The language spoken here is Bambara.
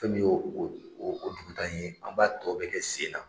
Fɛn min y'o o o dugu taa in ye, an b'a tɔ bɛ kɛ sen na.